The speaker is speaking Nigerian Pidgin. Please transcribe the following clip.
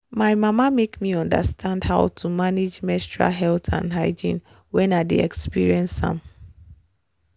my mama make me understand how to manage menstrual health and hygiene when i dey experience am.